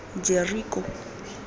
jeriko